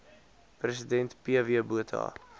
president pw botha